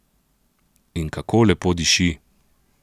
In kako lepo diši!